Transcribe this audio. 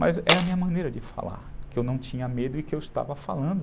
Mas era a minha maneira de falar, que eu não tinha medo e que eu estava falando.